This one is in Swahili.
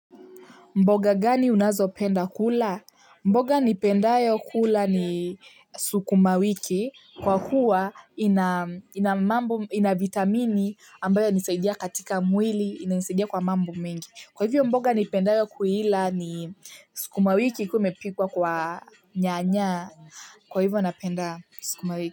Mboga gani unazopenda kula? Mboga nipendayo kula ni sukuma wiki. Kwa kuwa ina vitamini ambayo inasadia katika mwili, inanisadia kwa mambo mengi. Kwa hivyo mboga nipendayo kuila ni sukuma wiki ikiwa imepikwa kwa nyanya. Kwa hivyo napenda sukuma wiki.